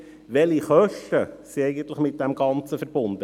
Welche Kosten sind mit dem Ganzen verbunden?